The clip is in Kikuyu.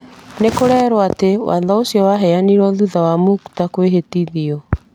No kũrerwo atĩ , watho ũcio waheanirũo thutha wa Muktar kũhĩtithio.